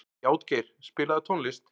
Játgeir, spilaðu tónlist.